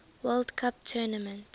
world cup tournament